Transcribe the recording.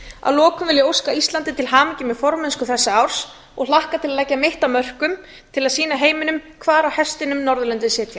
að lokum vil ég óska íslandi til hamingju með formennsku þessa árs og hlakka til að leggja mitt af mörkum til að sýna heiminum hvar á hestinum norðurlöndin sitja